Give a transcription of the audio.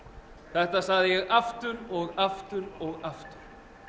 þetta sagði ég aftur og aftur og aftur